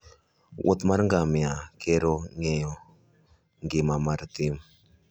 wuoth mar ngamia kero ng'eyo ngima mar thim.